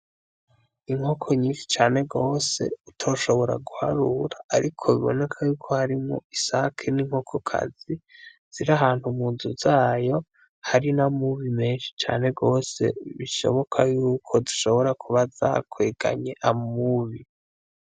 Inkoko nyinshi cane gose utoshobora guharura ariko biboneka yuko harimwo isake n’inkokokazi ziri ahantu mu nzu zayo hari n’amubi menshi cane gose bishoboka yuko zishobora kuba zakweganye amubi